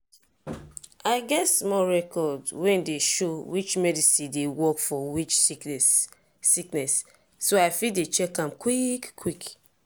i get small record wey dey show which medicine dey work for which sickness sickness so i fit dey check am quick quick.